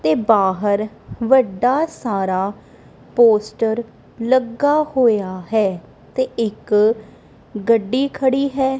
ਤੇ ਬਾਹਰ ਵੱਡਾ ਸਾਰਾ ਪੋਸਟਰ ਲੱਗਾ ਹੋਇਆ ਹੈ ਤੇ ਇੱਕ ਗੱਡੀ ਖੜੀ ਹੈ।